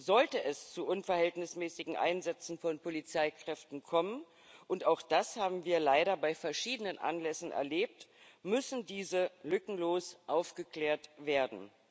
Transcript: Sollte es zu unverhältnismäßigen Einsätzen von Polizeikräften kommen auch das haben wir leider bei verschiedenen Anlässen erlebt müssen diese lückenlos aufgeklärt werden.